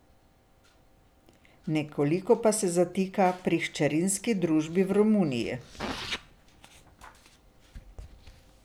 Nekoliko pa se zatika pri hčerinski družbi v Romuniji.